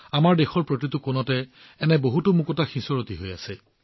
আমাৰ দেশত প্ৰতিটো কোণত এনে ধৰণৰ বহুতো ৰং সিঁচৰতি হৈ আছে